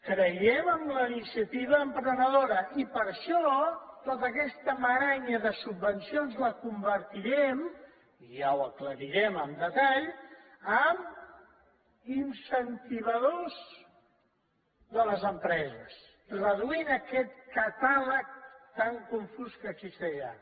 creiem en la iniciativa emprenedora i per això tot aquest garbuix de subvencions el convertirem i ja ho aclarirem amb detall en incentivadors de les empreses reduint aquest catàleg tan confús que existeix ara